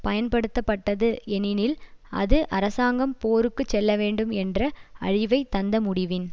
பயன்படுத்தப்பட்டது ஏனெனில் அது அரசாங்கம் போருக்கு செல்லவேண்டும் என்ற அழிவை தந்த முடிவின்